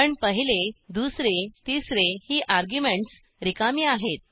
पण पहिले दुसरे तिसरे ही अर्ग्युमेंटस रिकामी आहेत